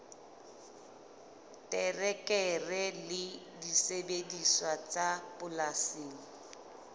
terekere le disebediswa tsa polasing